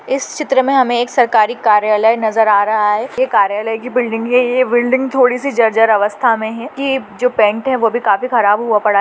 इस चित्र में हमें एक सरकारी कार्यालय नज़र आ रहा है ये कार्यालय की बिल्डिंग है ये बिल्डिंग थोड़ी सी जर्जर अवस्था में है ये जो पेंट है वो भी काफी ख़राब हुआ पड़ा है।